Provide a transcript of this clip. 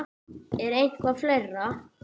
Er eitthvað fleira?